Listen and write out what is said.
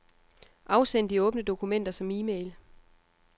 Afsend de åbne dokumenter som e-mail.